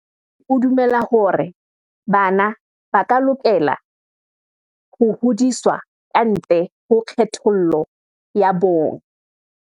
O dumela hore bana ba lokela ho hodiswa ka ntle ho kgethollo ya bong.